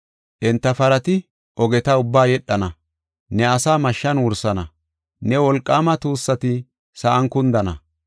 Enta parati ogeta ubbaa yedhana. Ne asaa mashshan wursana; ne wolqaama tuussati sa7an kundana.